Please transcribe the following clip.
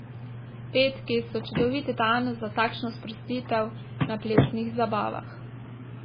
Petki so čudovit dan za takšno sprostitev na plesnih zabavah.